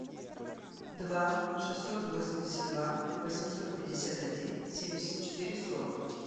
два шестьсот восемьдесят два восемьсот пятьдесят один семьдесят четыре сорок